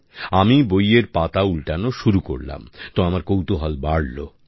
আমি বইয়ের পাতা উল্টানো শুরু করলাম তো আমার কৌতুহল বাড়লো